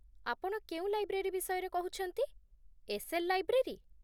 ଆପଣ କେଉଁ ଲାଇବ୍ରେରୀ ବିଷୟରେ କହୁଛନ୍ତି, ଏସ୍.ଏଲ୍. ଲାଇବ୍ରେରୀ?